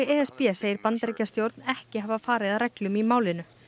e s b segir Bandaríkjastjórn ekki hafa farið að reglum í málinu